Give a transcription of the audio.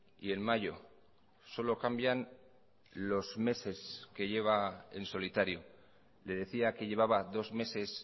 y en mayo solo cambian los meses que lleva en solitario le decía que llevaba dos meses